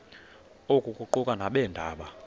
oku kuquka nabeendaba